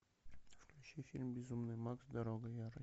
включи фильм безумный макс дорога ярости